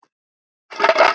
Að aftan, að framan?